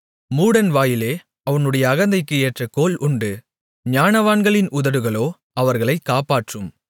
மூடன் வாயிலே அவனுடைய அகந்தைக்கு ஏற்ற கோல் உண்டு ஞானவான்களின் உதடுகளோ அவர்களைக் காப்பாற்றும்